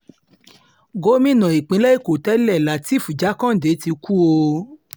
gómìnà ìpínlẹ̀ èkó tẹ́lẹ̀ lateef jákàndé ti kú o